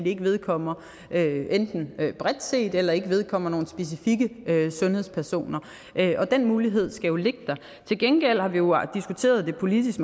ikke vedkommer nogen bredt set eller ikke vedkommer nogle specifikke sundhedspersoner og den mulighed skal jo ligge der til gengæld har vi jo diskuteret det politisk